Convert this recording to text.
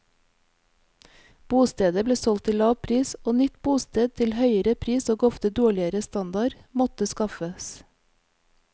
Bostedet ble solgt til lav pris, og nytt bosted til høyere pris og ofte dårligere standard måtte skaffes.